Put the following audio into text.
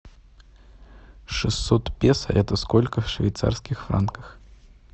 шестьсот песо это сколько в швейцарских франках